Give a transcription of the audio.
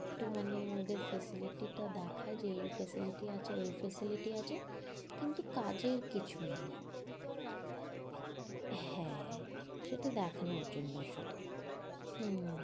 একটু মানে ওদের facility টা দেখায় যে এই facility আছে ঐ facility আছে, কিন্তু কাজের কিছু নেই। হ্যাঁ সেটা দেখানোর জন্য শুধু। হম